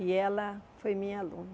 E ela foi minha aluna.